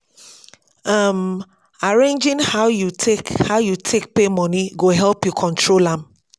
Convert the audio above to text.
um arranging how yu take how yu take pay moni go help yu control am